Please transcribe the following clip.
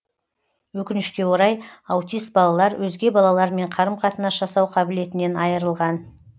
өкінішке орай аутист балалар өзге балалармен қарым қатынас жасау қабілетінен айырылған